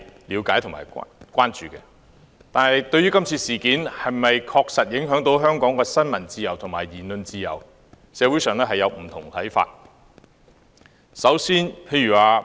然而，對於今次事件是否確實影響香港的新聞自由和言論自由，社會上有不同看法。